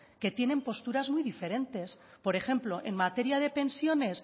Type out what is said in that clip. que tienen posturas muy diferentes por ejemplo en materia de pensiones